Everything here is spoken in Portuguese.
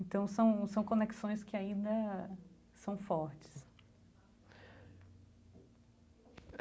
Então são são conexões que ainda são fortes.